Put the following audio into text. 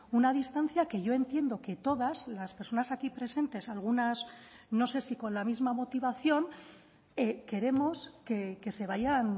una distancia que yo entiendo que todas las personas aquí presentes algunas no sé si con la misma motivación queremos que se vayan